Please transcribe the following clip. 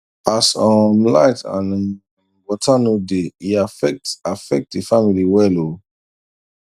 as um light and um water no dey e affect affect the family well o